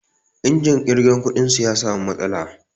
Injin ƙirga kuɗin su ya samu matsala.